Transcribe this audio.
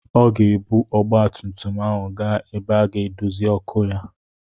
Aga m ebu ọgbatumtum ahụ gaa ebe a ga-edozi ọkụ ya.